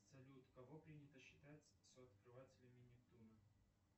салют кого принято считать сооткрывателями нептуна